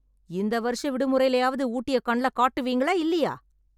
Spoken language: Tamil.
இந்த வருஷ விடுமுறைலயாவது ஊட்டிய கண்ல காட்டுவீங்களா இல்லையா?